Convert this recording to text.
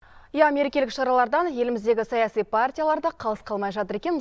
иә мерекелік шаралардан еліміздегі саяси партиялар да қалыс қалмай жатыр екен